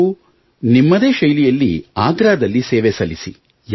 ನೀವು ನಿಮ್ಮದೇ ಶೈಲಿಯಲ್ಲಿ ಆಗ್ರಾದಲ್ಲಿ ಸೇವೆ ಸಲ್ಲಿಸಿ